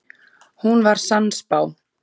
Hún var sannspá.